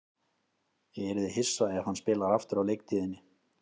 Ég yrði hissa ef hann spilar aftur á leiktíðinni.